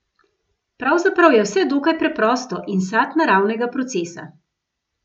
Pravzaprav je vse dokaj preprosto in sad naravnega procesa.